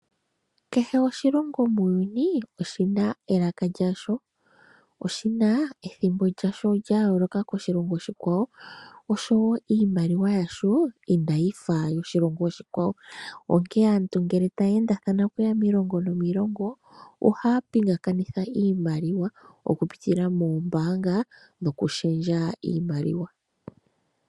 Kehe oshilongo muuyuni oshina elaka lyasho sho oshina ethimbo lyasho lyayooloka koshilongo oshikwawo niimaliwa yasho inayifa yoshilongo oshikwawo, onkene aantu ngele taya endathana okuya miilongo nomiilongo ohaya pingakanitha iimaliwa okupitila moombaanga nokushendja iimaliwa.